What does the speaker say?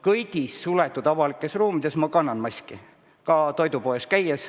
Kõigis suletud avalikes ruumides ma kannan maski, ka toidupoes käies.